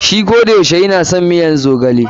Shi kodayaushe ya na son miyar zogale.